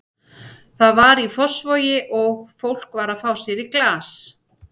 Það var í Fossvogi og fólk var að fá sér í glas.